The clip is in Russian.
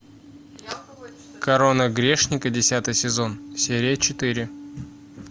корона грешника десятый сезон серия четыре